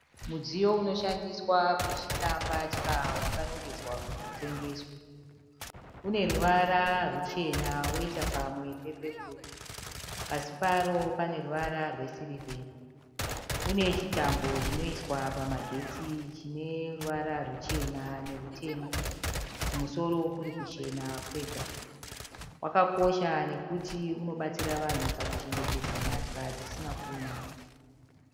Mudziyo unoshandiswa kutyisa mbatya wakarongedzwa kuti utengeswe. Uneruvara rwuchena woita pamwe pepeporu. Pasi paro paruvara rwe sirivheri. Une chitambo chinoiswa pamagetsi chineruvara ruchena nerutema. Kumusoro kuri kuchena kwega. Wakakosha nekuti unobatsira vanhu kuchengetedza mbatya dzisina kuunyana.